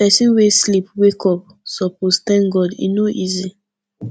pesin wey sleep wake up suppose tank god e no easy